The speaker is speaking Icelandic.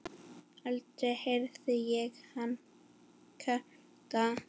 Aldrei heyrði ég hann kvarta.